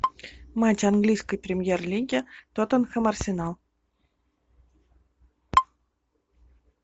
матч английской премьер лиги тотенхем арсенал